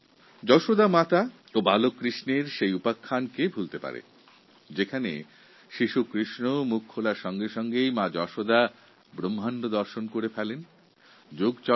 যেমন মা যশোদা ও শ্রীকৃষ্ণের সেই কাহিনির কথা কে ভুলতে পারে যখন বালক শ্রীকৃষ্ণ নিজের মুখগহ্বরে বিশ্ব ব্রহ্মাণ্ড দর্শন করিয়েছিলেন তখন মা যশোদা বালক কৃষ্ণের ঐশ্বরিক ক্ষমতা উপলব্ধি করতে পেরেছিলেন